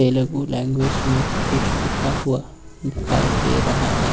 Telugu language में कुछ लिखा हुआ दिखाई दे रहा है।